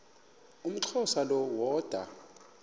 umxhosa lo woda